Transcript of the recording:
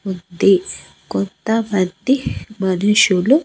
ఉంది కొత్త వ్యక్తి మనుషులు.